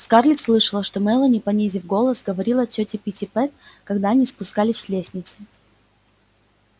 скарлетт слышала как мелани понизив голос говорила тёте питтипэт когда они спускались с лестницы